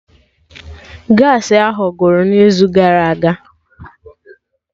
Gaasị ahụ gwụrụ n'izu gara aga